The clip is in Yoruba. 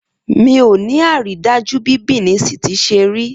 Miò ní àrídájú bí Benin City ṣe rí